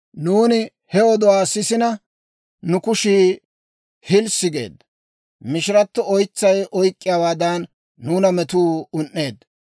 Nuuni he oduwaa sisina, nu kushii hilssi geedda. Mishirato oytsay oyk'k'iyaawaadan, nuuna metuu un"eedda.